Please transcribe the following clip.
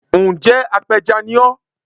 Ǹ jẹ́ apẹja ni ọ́